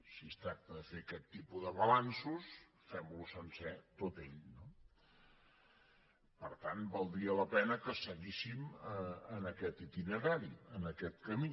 si es tracta de fer aquest tipus de balanços fem lo sencer tot ell no per tant valdria la pena que seguíssim en aquest itinerari en aquest camí